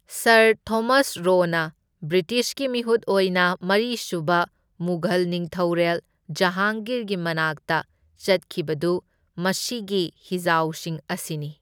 Sir Thomas ꯔꯣꯅ ꯕ꯭ꯔꯤꯇꯤꯁꯀꯤ ꯃꯤꯍꯨꯠ ꯑꯣꯏꯅ ꯃꯔꯤꯁꯨꯕ ꯃꯨꯘꯜ ꯅꯤꯡꯊꯧꯔꯦꯜ ꯖꯍꯥꯡꯒꯤꯔꯒꯤ ꯃꯅꯥꯛꯇ ꯆꯠꯈꯤꯕꯗꯨ ꯃꯁꯤꯒꯤ ꯍꯤꯖꯥꯎꯁꯤꯡ ꯑꯁꯤꯅꯤ꯫